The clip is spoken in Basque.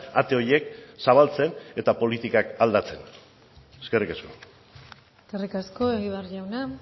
ate horiek zabaltzen eta politikak aldatzen eskerrik asko eskerrik asko egibar jauna